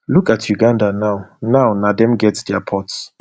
look at uganda now now na dem get dia ports